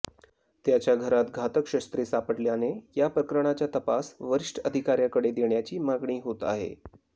त्याच्या घरात घातक शस्त्रे सापडल्याने या प्रकरणाचा तपास वरिष्ठ अधिकाऱ्याकडे देण्याची मागणी होत आहे